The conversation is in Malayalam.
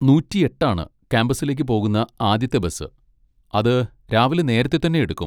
നൂറ്റി എട്ട് ആണ് കാമ്പസിലേക്ക് പോകുന്ന ആദ്യത്തെ ബസ്, അത് രാവിലെ നേരത്തെ തന്നെ എടുക്കും.